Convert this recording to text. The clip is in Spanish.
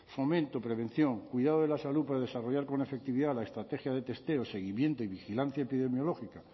fomento prevención cuidado de la salud para desarrollar con efectividad la estrategia de testeo seguimiento y vigilancia epidemiológica